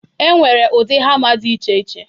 E nwere ụdị hama dị iche iche.